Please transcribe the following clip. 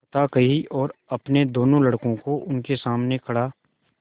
कथा कही और अपने दोनों लड़कों को उनके सामने खड़ा